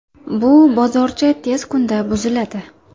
Bu bozorcha tez kunda buziladi.